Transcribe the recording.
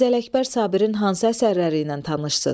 Mirzə Ələkbər Sabirin hansı əsərləri ilə tanışsız?